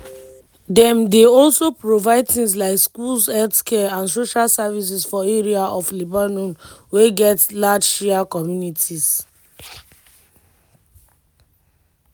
dem dey alos provide tins like schools healthcare and social services for areas of lebanon wey get large shia communities.